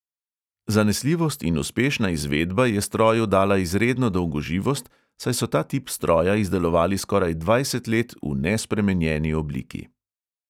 Zanesljivost in uspešna izvedba je stroju dala izredno dolgoživost, saj so ta tip stroja izdelovali skoraj dvajset let v nespremenjeni obliki.